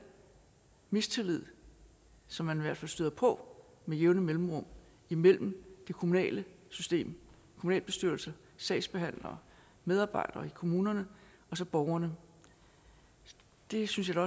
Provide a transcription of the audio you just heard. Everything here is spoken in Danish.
mistillid som man i hvert fald støder på med jævne mellemrum imellem det kommunale system kommunalbestyrelse sagsbehandlere medarbejdere i kommunerne og så borgerne det synes jeg